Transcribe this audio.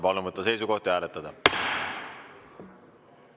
Palun võtta seisukoht ja hääletada!